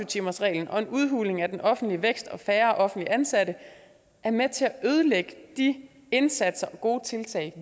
timersreglen og en udhuling af den offentlige vækst og færre offentligt ansatte er med til at ødelægge de indsatser og gode tiltag